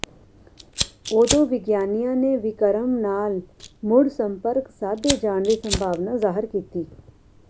ਉਦੋਂ ਵਿਗਿਆਨੀਆਂ ਨੇ ਵਿਕਰਮ ਨਾਲ ਮੁੜ ਸੰਪਰਕ ਸਾਧੇ ਜਾਣ ਦੀ ਸੰਭਾਵਨਾ ਜ਼ਾਹਰ ਕੀਤੀ